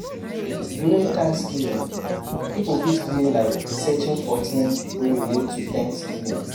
During thanks giving, pipo fit play like searching for things wey relate to thanks giving